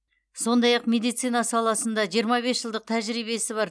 сондай ақ медицина саласында жиырма бес жылдық тәжірбиесі бар